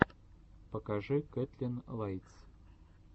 покажи кэтлин лайтс